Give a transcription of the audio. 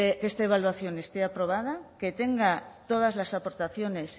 que esta evaluación esté aprobada que tenga todas las aportaciones